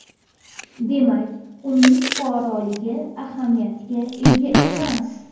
Demak, uning fuqaroligi ahamiyatga ega emas.